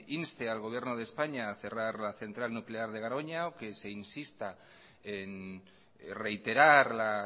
inste al gobierno de españa a cerrar la central nuclear de garoña o que se insista en reiterar la